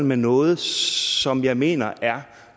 med noget som jeg mener er